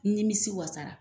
N n nimisi wasara.